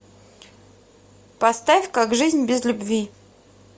поставь как жизнь без любви